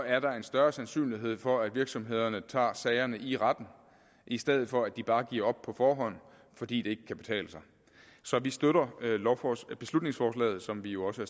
er der en større sandsynlighed for at virksomhederne tager sagerne i retten i stedet for at de bare giver op på forhånd fordi det kan betale sig så vi støtter beslutningsforslaget som vi jo også